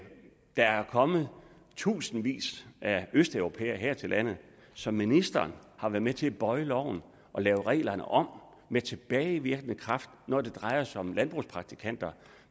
der er kommet tusindvis af østeuropæere her til landet så ministeren har været med til at bøje loven og lave reglerne om med tilbagevirkende kraft når det drejer sig om landbrugspraktikanter